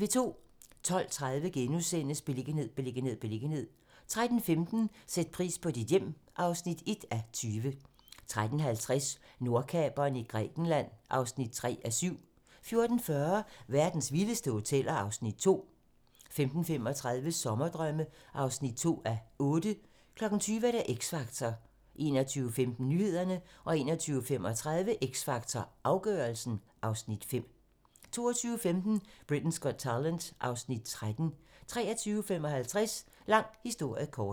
12:30: Beliggenhed, beliggenhed, beliggenhed * 13:15: Sæt pris på dit hjem (1:20) 13:50: Nordkaperen i Grækenland (3:7) 14:40: Verdens vildeste hoteller (Afs. 2) 15:35: Sommerdrømme (2:8) 20:00: X Factor 21:15: Nyhederne 21:35: X Factor - afgørelsen (Afs. 5) 22:15: Britain's Got Talent (Afs. 13) 23:55: Lang historie kort